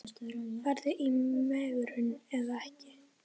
Farðu í megrun eða ekki.